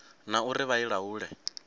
na uri vha i laule